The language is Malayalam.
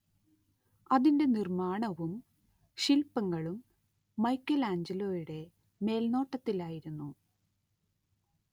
അതിന്റെ നിർമ്മാണവും ശില്പങ്ങളും മൈക്കെലാഞ്ചലോയുടെ മേൽനോട്ടത്തിലായിരുന്നു